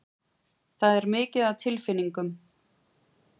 Það er mikið af tilfinningum.